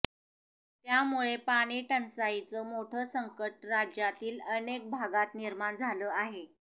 त्यामुळे पाणी टंचाईचं मोठं संकट राज्यातील अनेक भागात निर्माण झालं आहे